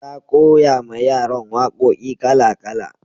na koya ma yaran waƙoƙi kala kala